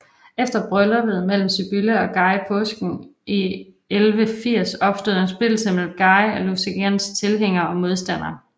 Efter brylluppet mellem Sibylla og Guy i påsken 1180 opstod der en splittelse mellem Guy af Lusignans tilhængere og modstandere